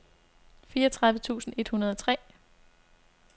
fireogtredive tusind et hundrede og tre